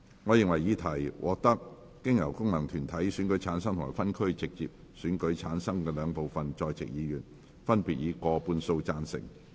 我認為議題獲得經由功能團體選舉產生及分區直接選舉產生的兩部分在席議員，分別以過半數贊成。